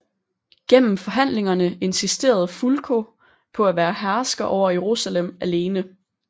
Gennem forhandlingerne insisterede Fulko på at være hersker over Jerusalem alene